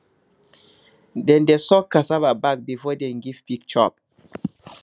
dem dey soak cassava back before dem give pig chop